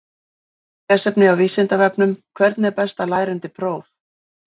Frekara lesefni á Vísindavefnum: Hvernig er best að læra undir próf?